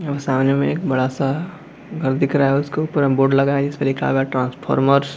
सामने में एक बड़ा सा घर दिख रहा है उसके ऊपर बोर्ड लगा हुआ है उसपे लिखा है ट्रांसफॉमर्स ।